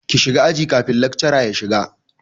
Ki shiga aji kafin lakcara ya shiga!